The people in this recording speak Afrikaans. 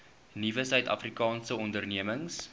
nuwe suidafrikaanse ondernemings